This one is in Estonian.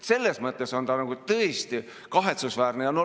Selles mõttes on see tõesti kahetsusväärne.